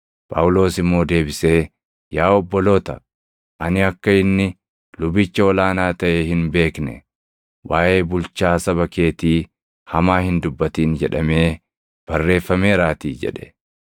Phaawulos immoo deebisee, “Yaa obboloota, ani akka inni lubicha ol aanaa taʼe hin beekne; ‘Waaʼee bulchaa saba keetii hamaa hin dubbatin’ jedhamee barreeffameeraatii” + 23:5 \+xt Bau 22:28\+xt* jedhe.